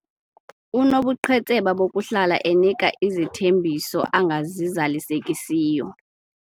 Unobuqhetseba bokuhlala enika izithembiso angazizalisekisiyo.